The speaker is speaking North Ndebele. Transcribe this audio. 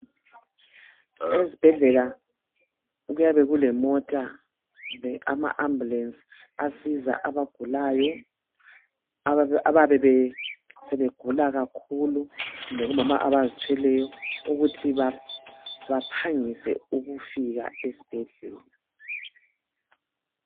Ezibhedlela kuyabe kulemota kumbe ama ambulence asiza abagulayo ababesebegula kakhulu kumbe omama abazithweleyo ukuthi baphangise ukufika esibhedlela.